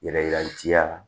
Yɛrɛ ci ya la